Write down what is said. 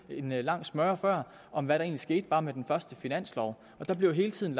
en lang smøre om hvad der egentlig skete bare med den første finanslov og der bliver hele tiden